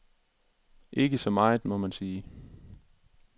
Ikke meget, må man sige.